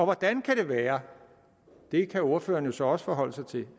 hvordan kan det være det kan ordføreren så også forholde sig til